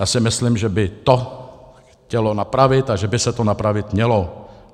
Já si myslím, že by to chtělo napravit a že by se to napravit mělo.